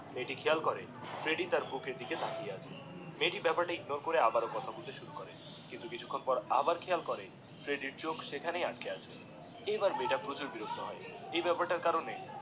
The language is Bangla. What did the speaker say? মেয়েটি খেয়াল করে যে ফ্রেডিডিএ তার বুকের দিকে তাকিয়ে আছে মেয়েটি সেই বেপার তা কে ইগনোর করে আবারো কথা বলতে শুরু করে দিয়ে কিন্তু কিচুক্ষন পর আবার খেয়াল করে ফ্রেড্ডির চোখ সেখানেই আটকে আছে এইবার মেয়েটা প্রচুর বিরক্ত হয়ে এই বেপার তার কারণে